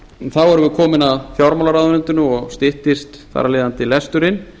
þá erum við komin að fjármálaráðuneytinu og styttist þar af leiðandi lesturinn